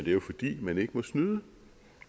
er jo fordi man ikke må snyde